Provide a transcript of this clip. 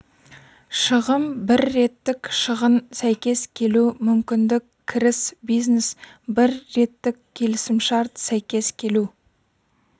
шығын бір реттік шығын сәйкес келу мүмкіндік кіріс бизнес бір реттік келісімшарт сәйкес келу